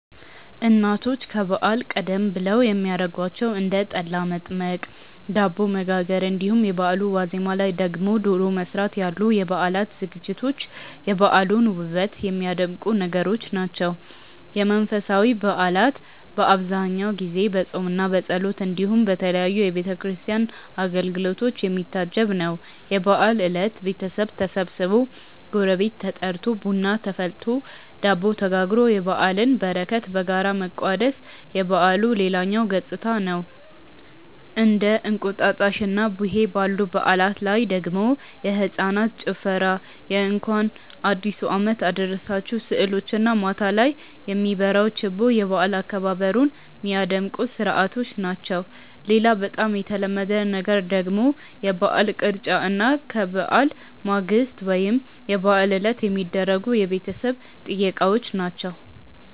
እናቶች ከበዓል ቀደም ብለው የሚያረጓቸው እንደ ጠላ መጥመቅ፣ ዳቦ መጋገር እንዲሁም የበአሉ ዋዜማ ላይ ደግሞ ዶሮ መስራት ያሉ የበዓል ዝግጅቶች የበዓሉን ውበት የሚያደምቁ ነገሮች ናቸው። የመንፈሳዊ በዓላት በአብዛኛው ጊዜ በፆምምና በጸሎት እንዲሁም በተለያዩ የቤተ ክርስቲያን አገልግሎቶች የሚታጀብ ነው። የበዓል እለት ቤተሰብ ተሰብስቦ፣ ጎረቤት ተጠርቶ፣ ቡና ተፈልቶ፣ ዳቦ ተጋግሮ የበዓልን በረከት በጋራ መቋደስ የበዓሉ ሌላኛው ገፅታ ነው። እንደ እንቁጣጣሽና ቡሄ ባሉ በዓላት ላይ ደግሞ የህፃናት ጭፈራ የእንኳን አዲሱ አመት አደረሳችሁ ስዕሎች እና ማታ ላይ የሚበራው ችቦ የበዓል አከባበሩን ሚያደምቁ ስርዓቶች ናቸው። ሌላ በጣም የተለመደ ነገር ደግሞ የበዓል ቅርጫ እና ከበዓል ማግስት ወይም የበዓል ዕለት የሚደረጉ የቤተሰብ ጥየቃዎች ናቸው።